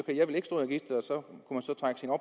registeret og så